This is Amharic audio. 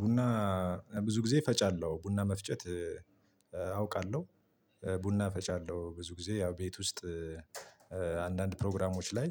ቡና ብዙ ጊዜ እፈጫለሁ። ቡና መፍጨት አውቃለሁ። ቡና እፈጫለሁ ብዙ ጊዜ ያው ቤት ውስጥ አንዳንድ ፕሮግራሞች ላይ